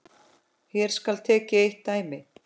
Hér skal tekið eitt dæmi.